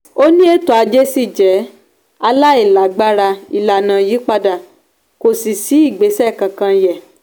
ó ní ètò ajé ṣì jẹ́ aláìlágbára ìlànà yí padà kò sì sí ìgbésẹ̀ kankan yẹ